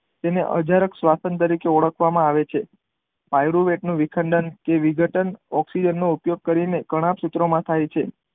તેને અજરાક શ્વસન તરીકે ઓળખવામાં આવે છે પાયરુ વેદ નો વિઘડનકે વિઘટન ઓકઝીજન નો ઉપયોગ કરી ને કણાભ સૂત્ર માં થાય છે.